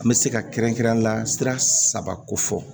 An bɛ se ka kɛrɛnkɛrɛnyala sira saba ko fɔ